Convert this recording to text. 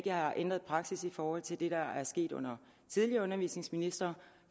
jeg har ændret praksis i forhold til det der er sket under tidligere undervisningsministre